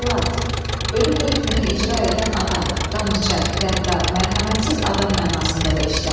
Cəllad, ölüm hökmünü icra edən adam, qan içən, qəddar, mərhəmətsiz adam mənasında da işlənir.